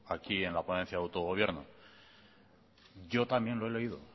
aquí en la ponencia de autogobierno yo también lo he leído